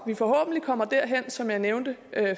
vi forhåbentlig kommer derhen som jeg nævnte